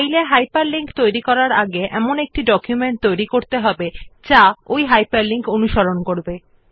ফাইলে একটি হাইপারলিংক তৈরির আগে প্রথমে একটি ডকুমেন্ট তৈরী করতে হবে যেটি হাইপারলিঙ্কড হবে